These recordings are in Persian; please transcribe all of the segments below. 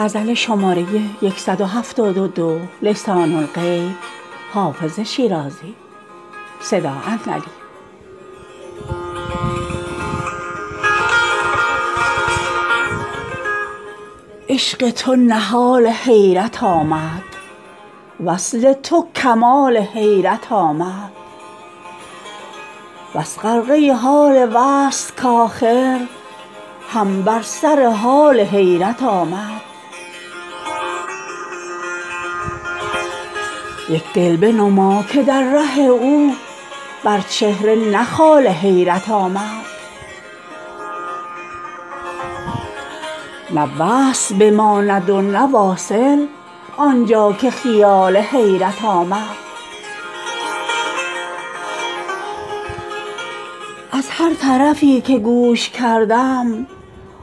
عشق تو نهال حیرت آمد وصل تو کمال حیرت آمد بس غرقه حال وصل کآخر هم بر سر حال حیرت آمد یک دل بنما که در ره او بر چهره نه خال حیرت آمد نه وصل بماند و نه واصل آن جا که خیال حیرت آمد از هر طرفی که گوش کردم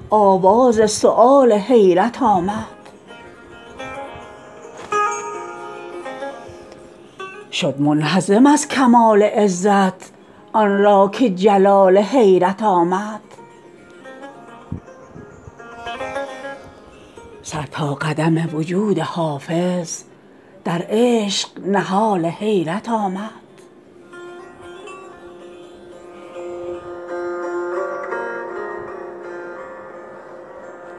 آواز سؤال حیرت آمد شد منهزم از کمال عزت آن را که جلال حیرت آمد سر تا قدم وجود حافظ در عشق نهال حیرت آمد